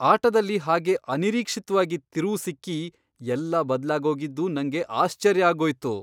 ಆಟದಲ್ಲಿ ಹಾಗೆ ಅನಿರೀಕ್ಷಿತ್ವಾಗಿ ತಿರುವು ಸಿಕ್ಕಿ ಎಲ್ಲ ಬದ್ಲಾಗೋಗಿದ್ದು ನಂಗೆ ಆಶ್ಚರ್ಯ ಆಗೋಯ್ತು.